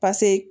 pase